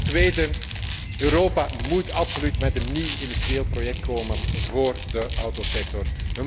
Ten tweede, Europa moet absoluut met een nieuw industrieel project komen voor de autosector.